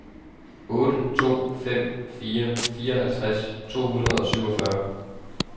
otte to fem fire fireoghalvtreds to hundrede og syvogfyrre